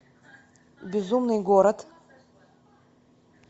безумный город